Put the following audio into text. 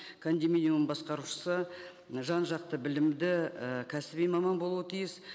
кондоминиум басқарушысы жан жақты білімді і кәсіби маман болуы тиіс